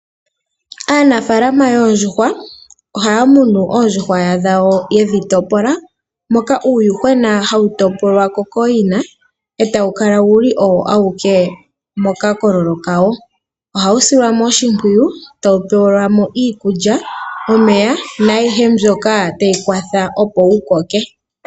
Aanafalama yoondjuhwa ohaya munu oondjuhwa dhawo yedhi topola moka uuyuhwena hawu topolwa ko kooyina etawu kala wuli owo awuke moka kololo kawo. Ohawu silwa oshimpwiyu tawu pewelwa mo iikulya omeya nayihe mbyoka tayi kwatha opo wu koke.